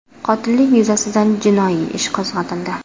Qotillik yuzasidan jinoiy ish qo‘zg‘atildi.